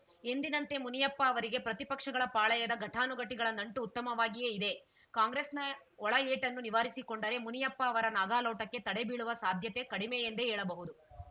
ಎಂದಿನಂತೆ ಮುನಿಯಪ್ಪ ಅವರಿಗೆ ಪ್ರತಿಪಕ್ಷಗಳ ಪಾಳಯದ ಘಟಾನುಘಟಿಗಳ ನಂಟು ಉತ್ತಮವಾಗಿಯೇ ಇದೆ ಕಾಂಗ್ರೆಸ್‌ನ ಒಳಏಟನ್ನು ನಿವಾರಿಸಿಕೊಂಡರೆ ಮುನಿಯಪ್ಪ ಅವರ ನಾಗಾಲೋಟಕ್ಕೆ ತಡೆ ಬೀಳುವ ಸಾಧ್ಯತೆ ಕಡಿಮೆ ಎಂದೇ ಹೇಳಬಹುದು